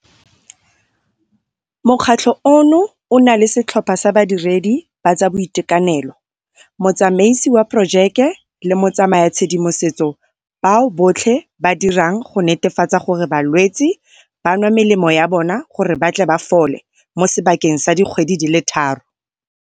Mokgatlho ono o na le setlhopha sa badiredi ba tsa boitekanelo, motsamaisi wa porojeke le motsayatshedimosetso bao botlhe ba dirang go netefatsa gore balwetsi ba nwa melemo ya bona gore ba tle ba fole mo sebakeng sa dikgwedi di le thataro.